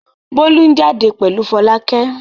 Bólú ń jáde pẹ̀lú Fọlákẹ́.